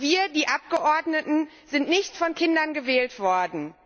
Wir, die Abgeordneten, sind nicht von Kindern gewählt worden.